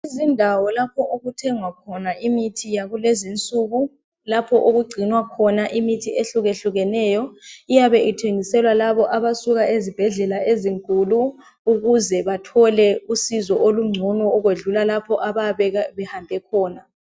Indawo lapho okuthengwa khona imithi yakulezi insuku, lapho okugcinwa khona imithi ehlukehlukeneyo iyabe ithengiselwa labo abasuka ezibhedlela ezinkulu ukuze bathole usizo olungcono ukwedlula lapha abayabe behambe khona.